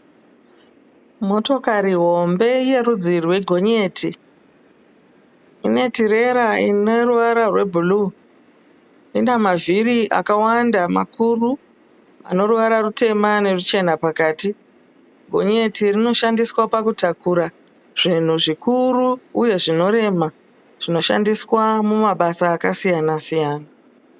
Motokari hombe ye rudzi rwe gonyeti. Ine tirera ine ruwara rwe bhuruu. Ina mavhiri akawanda makuru ane ruwara rutema neruchena pakati. Gonyeti rinoshandiswa pakutakura zvinhu zvikuru uye zvinorema zvinoshandiswa mumabasa akasiyana siyana.